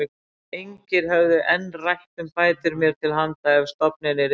Engir höfðu enn rætt um bætur mér til handa ef stofninn yrði felldur.